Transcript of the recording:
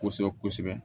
Kosɛbɛ kosɛbɛ kosɛbɛ